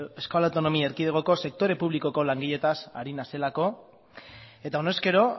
euskal autonomi erkidegoko sektore publikoko langileetaz ari naizelako eta honezkero